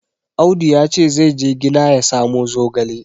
Audu ya ce zai je gina ya samo zogale.